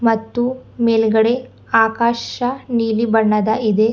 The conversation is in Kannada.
ಮತ್ತು ಮೇಲ್ಗಡೆ ಆಕಾಶ ನೀಲಿ ಬಣ್ಣದ ಇದೆ.